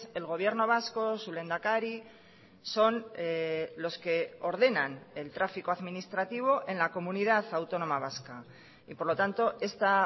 el gobierno vasco su lehendakari son los que ordenan el tráfico administrativo en la comunidad autónoma vasca y por lo tanto esta